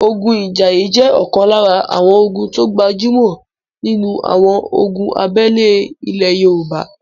ogun Ìjàìyè jẹ́ ọ̀kan lára àwọn ogun tó gbajúmọ̀ nínu àwọn ogun abẹ́lé ilẹ Yorùbá